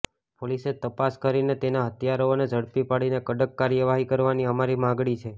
પોલીસે તપાસ કરીને તેના હત્યારાઓને ઝડપી પાડીને કડક કાર્યવાહી કરવાની અમારી માગણી છે